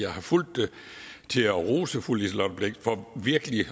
har fulgt det til at rose fru liselott blixt for virkelig